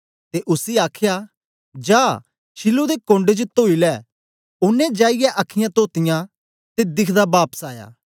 ते उसी आखया जा शीलोह दे कोण्ड च तोई लै शीलोह दा मतबल ऐ पेजया गेदा ओनें जाईयै अखीयाँ तोतीयां ते दिखदा बापस आया